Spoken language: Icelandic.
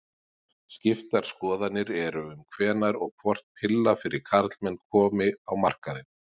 Skiptar skoðanir eru um hvenær og hvort pilla fyrir karlmenn komi á markaðinn.